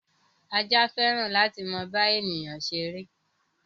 Ajá fẹ́ràn láti máa bá èyán ṣeré.